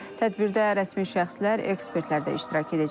Tədbirdə rəsmi şəxslər, ekspertlər də iştirak edəcək.